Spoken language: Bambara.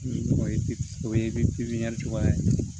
Ni o ye o ye pipiniyɛri tɔgɔya ye